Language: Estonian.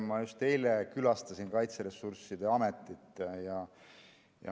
Ma just eile külastasin Kaitseressursside Ametit.